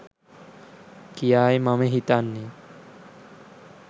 කියායි මම හිතන්නේ